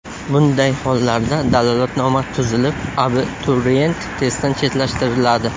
Bunday hollarda dalolatnoma tuzilib, abituriyent testdan chetlashtiriladi.